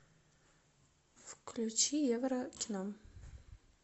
включи еврокино